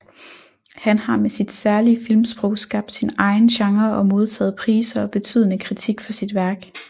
Han har med sit særlige filmsprog skabt sin egen genre og modtaget priser og betydende kritik for sit værk